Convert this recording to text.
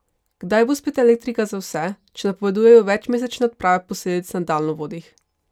Kdaj bo spet elektrika za vse, če napovedujejo večmesečne odprave posledic na daljnovodih?